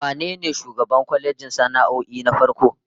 Wane ne shugaban kwalejin sana'o'in na farko?